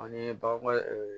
An ye bagan